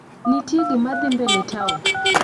Ntie gimadhii mbele town?